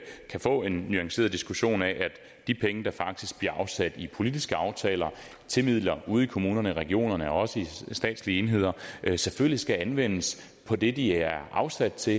kan få en nuanceret diskussion af at de penge der faktisk bliver afsat i politiske aftaler som midler ude i kommunerne regionerne og også i statslige enheder selvfølgelig skal anvendes på det de er afsat til